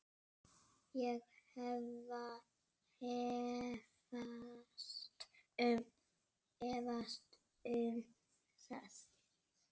Ég efast um það.